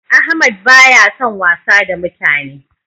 Ahmad ba ya san wasa da mutane